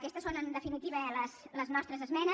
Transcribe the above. aquestes són en definitiva les nostres esmenes